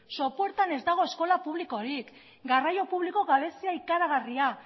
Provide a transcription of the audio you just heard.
sopuertan ez dago eskola publikorik garraio publiko gabezia ikaragarria